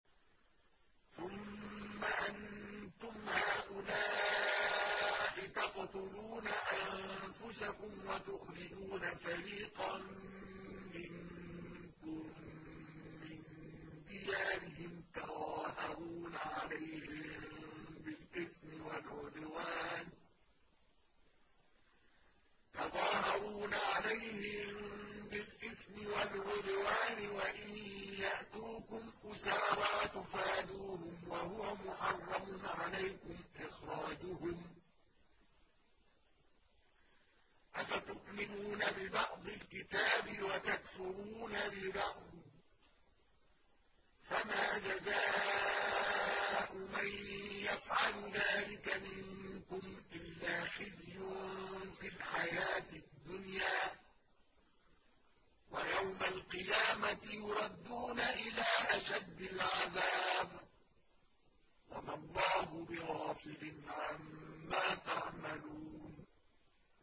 ثُمَّ أَنتُمْ هَٰؤُلَاءِ تَقْتُلُونَ أَنفُسَكُمْ وَتُخْرِجُونَ فَرِيقًا مِّنكُم مِّن دِيَارِهِمْ تَظَاهَرُونَ عَلَيْهِم بِالْإِثْمِ وَالْعُدْوَانِ وَإِن يَأْتُوكُمْ أُسَارَىٰ تُفَادُوهُمْ وَهُوَ مُحَرَّمٌ عَلَيْكُمْ إِخْرَاجُهُمْ ۚ أَفَتُؤْمِنُونَ بِبَعْضِ الْكِتَابِ وَتَكْفُرُونَ بِبَعْضٍ ۚ فَمَا جَزَاءُ مَن يَفْعَلُ ذَٰلِكَ مِنكُمْ إِلَّا خِزْيٌ فِي الْحَيَاةِ الدُّنْيَا ۖ وَيَوْمَ الْقِيَامَةِ يُرَدُّونَ إِلَىٰ أَشَدِّ الْعَذَابِ ۗ وَمَا اللَّهُ بِغَافِلٍ عَمَّا تَعْمَلُونَ